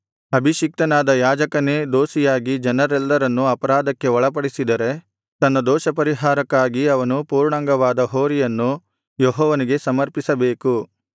ಅಭಿಷಿಕ್ತನಾದ ಯಾಜಕನೇ ದೋಷಿಯಾಗಿ ಜನರೆಲ್ಲರನ್ನು ಅಪರಾಧಕ್ಕೆ ಒಳಪಡಿಸಿದರೆ ತನ್ನ ದೋಷಪರಿಹಾರಕ್ಕಾಗಿ ಅವನು ಪೂರ್ಣಾಂಗವಾದ ಹೋರಿಯನ್ನು ಯೆಹೋವನಿಗೆ ಸಮರ್ಪಿಸಬೇಕು